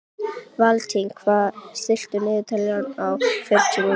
Valentín, stilltu niðurteljara á fjórtán mínútur.